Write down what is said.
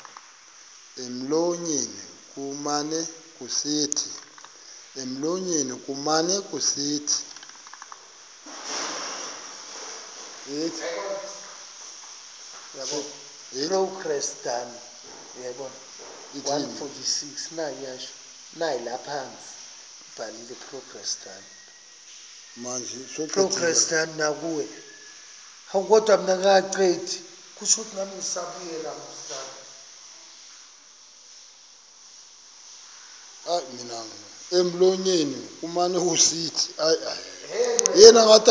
emlonyeni kumane kusithi